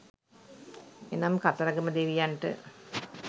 එනම් කතරගම දෙවියන්ට